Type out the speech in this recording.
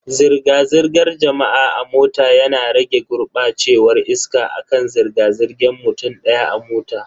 Zirga-zirgar jama'a a mota yana rage gurbacewar iska akan zirga zirgan mutum daya a mota.